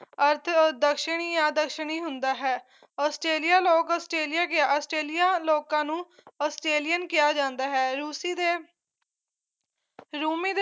ਅਰਥ ਅਦਸ਼ਣੀ ਅਦਸ਼ਣੀ ਹੁੰਦਾ ਹੈ ਆਸਟ੍ਰੇਲੀਆ ਲੋਕ ਆਸਟ੍ਰੇਲੀਆ ਗੇ ਆਸਟ੍ਰੇਲੀਆ ਲੋਕਾਂ ਨੂੰ ਆਸਟ੍ਰੇਲੀਅਨ ਕਿਹਾ ਜਾਂਦਾ ਹੈ ਰੂਸੀ ਦੇ ਰੂਮੀ ਦੇ